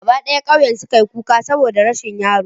Gaba d'aya k'auyen su ka yi kuka saboda rashin yaron.